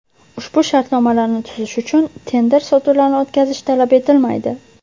Ushbu shartnomalarni tuzish uchun tender sotuvlarini o‘tkazish talab etilmaydi.